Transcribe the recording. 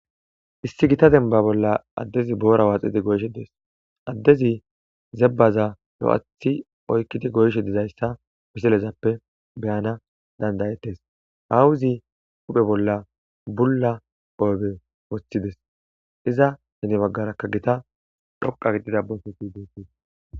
Issi gita dembba bolla addezi boora waaxidi goyishe dees addezi zabbaza lo7athithi oykidi goyishe dizaysa ha misilezan beyanaw dandayoos aawozi ba hu7e bolla bulla qope wothides.